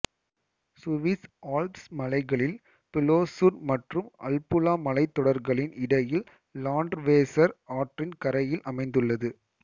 Swiss Alps மலைகளில் Plessur மற்றும் Albula மலைத்தொடர்களின் இடையில் லாண்ட்வேசர் ஆற்றின் கரையில் அமைந்துள்ளது